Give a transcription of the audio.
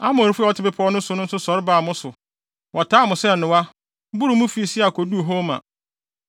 Amorifo a wɔte bepɔw no so nso sɔre baa mo so; wɔtaa mo sɛ nnowa, boroo mo fi Seir koduu Horma.